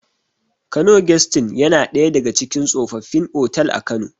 Kano gesti in yana ɗaya daga cikin tsofaffin otal a kano